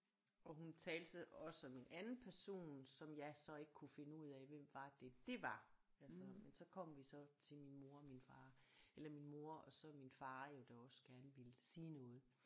Og hun talte så også om en anden person som jeg så ikke kunne finde ud af hvem var det det var altså men så kom vi så til min mor og min far eller min mor og så min far jo der også gerne ville sige noget